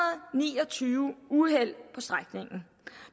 ni og tyve uheld på strækningen